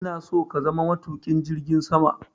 ina so ka zama matuƙin jirgin sama!